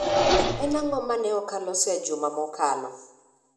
En ang'o ma ne ok aloso e juma mokalo?